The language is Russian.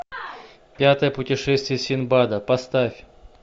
пятое путешествие синдбада поставь